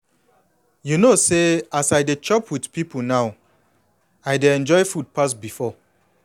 you know say as i de chop with people now i dey enjoy food pass before.